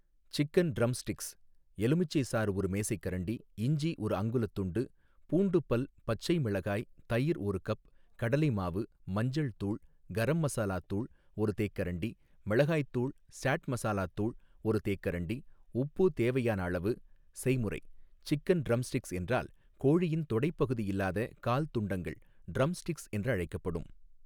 Chicken drumsticks எலுமிச்சை சாறு ஒரு மேசைக்கரண்டி இஞ்சி ஒரு அங்குலத் துண்டு பூண்டு பல் பச்சை மிளகாய் தயிர் ஒரு கப் கடலை மாவு மஞ்சள் தூள் கரம் மசாலாத்தூள் ஒரு தேக்கரண்டி மிளகாய்த்தூள் சாட் மசாலாத்தூள் ஒரு தேக்கரண்டி உப்பு தேவையான அளவு செய்முறை சிக்கன் ட்ரம்ஸ்டிக்ஸ் என்றால் கோழியின் தொடைப் பகுதி இல்லாத கால் துண்டங்கள் ட்ரம்ஸ்டிக்ஸ் என்றழைக்கப்படும்.